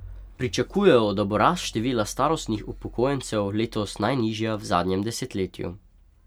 Pričakujejo, da bo rast števila starostnih upokojencev letos najnižja v zadnjem desetletju.